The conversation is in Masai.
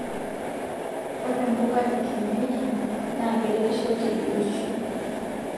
Ore mbuka e kienyejii na keretisho te biotisho